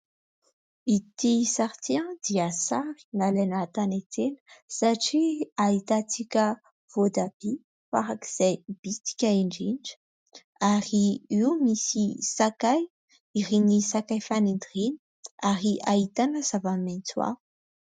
Ity sary ity dia sary nalaina tany an-tsena satria ahitantsika voatabia farak'izay bitika indrindra ary io misy sakay, ireny sakay fanendy ireny ary ahitana zavamaitso hafa.